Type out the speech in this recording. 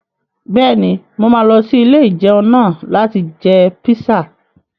Bẹ́ẹ̀ni, mo máa lọ sí ilé-ìjẹun náà láti jẹ píṣà